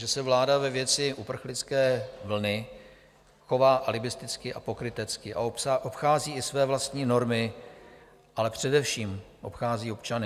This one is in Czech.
Že se vláda ve věci uprchlické vlny chová alibisticky a pokrytecky a obchází i své vlastní normy, ale především obchází občany.